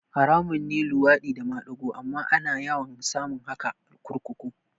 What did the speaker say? Haramun ne luwaɗi da madigo amma ana yawan samun haka kurkuku